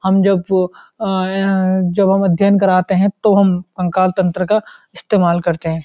हम जब वो आ ए जब हम अध्ययन कराते हैं तो हम कंकाल तंत्र का इस्तेमाल करते हैं